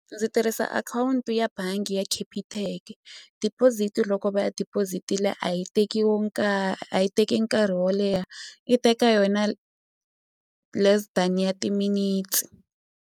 Ndzi tirhisa akhawunti ya bangi ya Capitec deposit loko va ya deposit-ile a yi teki wo a yi teki nkarhi wo leha yi teka yona less than ya timinetse.